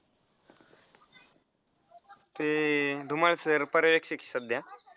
ते धुमाळ sir पर्यवेक्षक आहेत सध्या.